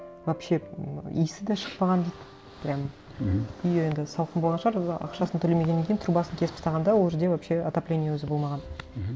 вообще иісі де шықпаған дейді прямо мхм үйі енді салқын болған шығар ақшасын төлемегеннен кейін трубасын кесіп тастаған да ол жерде вообще отопление өзі болмаған мхм